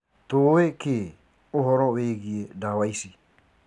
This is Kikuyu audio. Tũũwi ki ũhoro wigie dawa ici?